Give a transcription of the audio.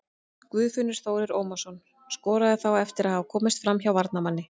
Guðfinnur Þórir Ómarsson skoraði þá eftir að hafa komist framhjá varnarmanni.